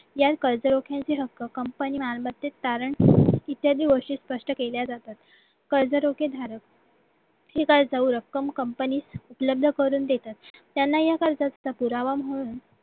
या कर्जरोख्यांची रक्कम काल company मालमत्तेत तारण इत्यादी गोष्टीत स्पष्ट केल्या जातात कर्जरोखे धारक काय रक्कम company त उपलब्ध करून देतात त्यांना कर्जाचा पुरावा म्हणून